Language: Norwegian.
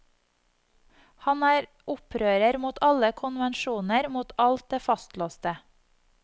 Han er opprører mot alle konvensjoner, mot alt det fastlåste.